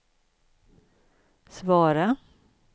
svara